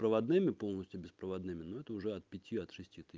проводными полностью беспроводными ну это уже от пяти от шести ты